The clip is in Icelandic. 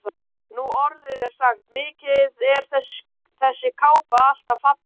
Nú orðið er sagt: Mikið er þessi kápa alltaf falleg